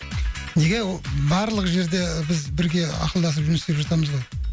неге о барлық жерде біз бірге ақылдасып жұмыс істеп жатамыз ғой